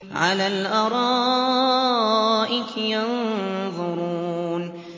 عَلَى الْأَرَائِكِ يَنظُرُونَ